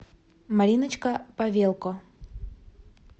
мариночка павелко